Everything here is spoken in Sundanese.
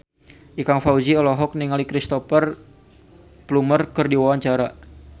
Ikang Fawzi olohok ningali Cristhoper Plumer keur diwawancara